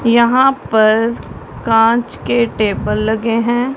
यहां पर कांच के टेबल लगे हैं।